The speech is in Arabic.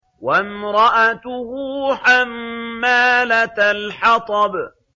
وَامْرَأَتُهُ حَمَّالَةَ الْحَطَبِ